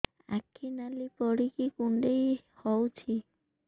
ଆଖି ନାଲି ପଡିକି କୁଣ୍ଡେଇ ହଉଛି